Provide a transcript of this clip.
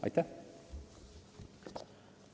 Aitäh!